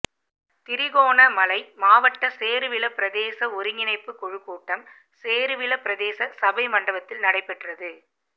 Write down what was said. திருகோணமலை மாவட்ட சேருவில பிரதேச ஒருங்கிணைப்புக் குழுக் கூட்டம் சேருவில பிரதேச சபை மண்டபத்தில் இடம் பெற்றது